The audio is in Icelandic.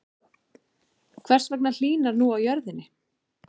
Hvers vegna hlýnar nú á jörðinni?